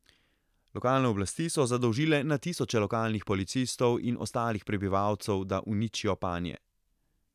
Lokalne oblasti so zadolžile na tisoče lokalnih policistov in ostalih prebivalcev, da uničijo panje.